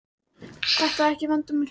Þetta er ekki vandamál hjá mér.